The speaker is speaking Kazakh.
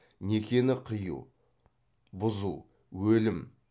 некені қию бұзу өлім